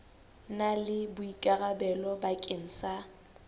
na le boikarabelo bakeng sa